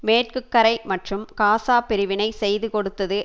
மேற்கு கரை மற்றும் காசா பிரிவினை செய்து கொடுத்தது